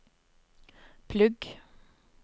plugg